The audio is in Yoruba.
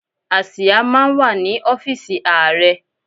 Àsìá máa ń wà ní ọ́fíísì Ààrẹ.